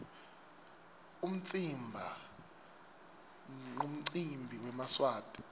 umtsimba nqumcimbi wemaswati